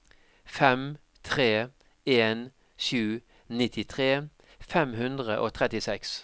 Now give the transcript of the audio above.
fem tre en sju nittitre fem hundre og trettiseks